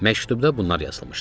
Məktubda bunlar yazılmışdı: